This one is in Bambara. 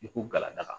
I ko galada